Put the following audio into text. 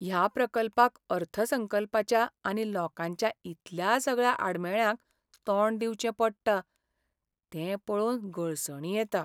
ह्या प्रकल्पाक अर्थसंकल्पाच्या आनी लोंकाच्या इतल्या सगळ्या आडमेळ्यांक तोंड दिवचें पडटा तें पळोवन गळसणी येता.